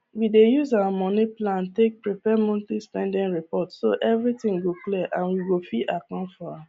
we dey use our moni plan take prepare monthly spending report so everything go clear and we go fit account for am